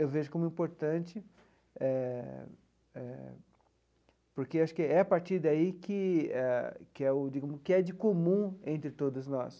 Eu vejo como importante eh eh, porque acho que é a partir daí que é que é o digamos que é de comum entre todos nós.